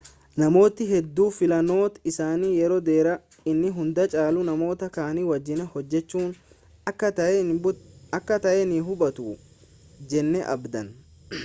namootni hedduun filannoon isaanii yeroo dheeraa inni hunda caalu namoota kaanii wajjin hojjechuu akka ta'e ni hubatu jennee abdanna